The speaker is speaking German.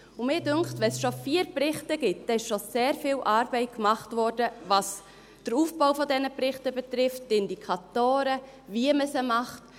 Ich denke, wenn es schon vier Berichte gibt, wurde schon sehr viel Arbeit gemacht, was der Aufbau dieser Berichte betrifft, die Indikatoren, wie man sie macht.